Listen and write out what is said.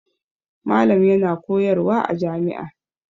Malam yana koyarwa a jami'a.